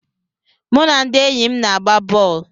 Mụ na ndị enyi m na-agba bọl.